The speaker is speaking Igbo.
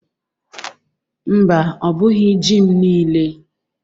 Mba, ọ bụghi ji m niile.